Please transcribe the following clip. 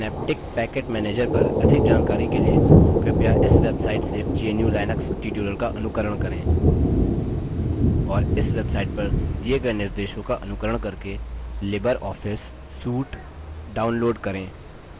synaptic package manager पर अधिक जानकारी के लिए कृपया इस website से gnu/लिनक्स tutorials का अनुकरण करें और इस website पर दिये गए निर्देशों का अनुकरण करके लिबर ऑफिस suite download करें